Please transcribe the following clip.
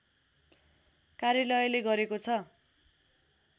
कार्यालयले गरेको छ